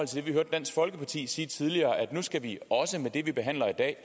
det vi hørte dansk folkeparti sige tidligere at nu skal vi også med det vi behandler i dag